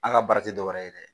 An ka baara tɛ dɔ wɛrɛ ye dɛ,